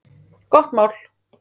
Gott mál!